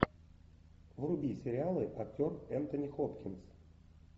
вруби сериалы актер энтони хопкинс